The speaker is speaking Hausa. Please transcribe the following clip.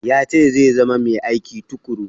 Ya ce zai zama mai aiki tuƙuru.